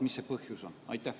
Mis see põhjus on?